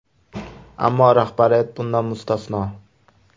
Ammo rahbariyat bundan mustasno.